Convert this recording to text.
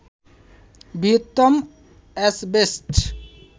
বৃহত্তম অ্যাসবেস্টস